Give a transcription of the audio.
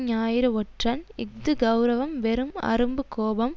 ஞாயிறு ஒற்றன் இஃது கெளரவம் வெறும் அரும்பு கோபம்